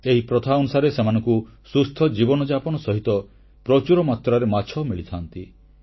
ଏହି ପ୍ରଥା ଅନୁସାରେ ସେମାନଙ୍କୁ ସୁସ୍ଥ ଜୀବନଯାପନ ସହିତ ପ୍ରଚୁର ମାତ୍ରାରେ ମାଛ ମିଳିଥାନ୍ତି